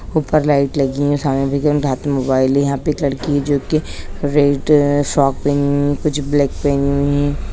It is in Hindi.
ऊपर लाइट लगी है सामने हाथ में मोबाइले है यहाँ पे एक लड़की है जो कि रेड फ्रॉक पहनी है कुछ ब्लैक पहनी है।